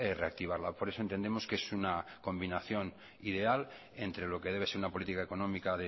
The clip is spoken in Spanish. reactivarla por eso entendemos que es una combinación ideal entre lo que debe ser una política económica